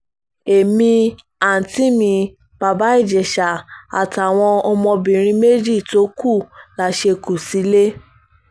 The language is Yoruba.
èmi àùntí mi bàbá ìjẹsà àtàwọn ọmọbìnrin méjì tó kù la ṣe kú sílẹ̀